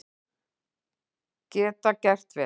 Geta gert vel